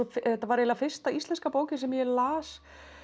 þetta var eiginlega fyrsta íslenska bókin sem ég las